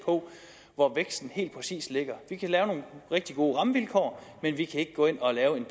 hvor væksten helt præcist ligger vi kan lave nogle rigtig gode rammevilkår men vi kan ikke gå ind og lave en